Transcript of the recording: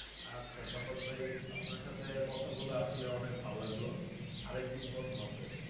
আচ্ছা সফাত ভাই আপনার সাতে কথা বলে আসলে অনেক ভালো লাগলো। আরেকদিন কথা হবে।